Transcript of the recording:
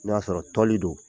N'o y'a sɔrɔ toli don